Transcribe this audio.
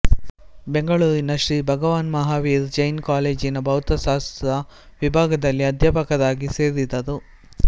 ಬೆಂಗಳೂರಿನ ಶ್ರೀ ಭಗವಾನ್ ಮಹಾವೀರ್ ಜೈನ್ ಕಾಲೇಜಿನ ಭೌತಶಾಸ್ತ್ರ ವಿಭಾಗದಲ್ಲಿ ಅಧ್ಯಾಪಕರಾಗಿ ಸೇರಿದರು